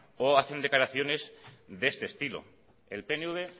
o hacen declaraciones de este estilo el pnv